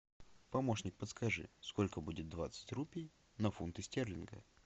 помощник подскажи сколько будет двадцать рупий на фунты стерлинга